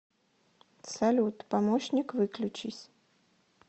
салют помощник выключись